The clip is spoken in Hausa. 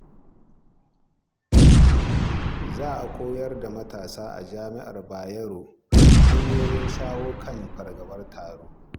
Za a koyar da matasa a Jami'ar Bayero hanyoyin shawo kan fargabar taro.